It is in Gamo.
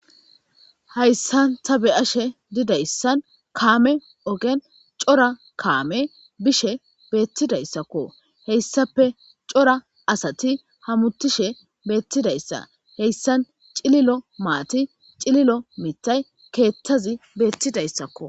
Hayssan ta be'ashe didayssan kaame ogen cora kaame bishe beettidayssakko. Heyssape cora asati hamutishe beettidayssa heyssan cililo maati cililo mitay keeththazi beettidayssakko.